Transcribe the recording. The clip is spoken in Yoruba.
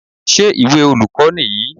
Ṣé ìwé olùkọ́ nìyí?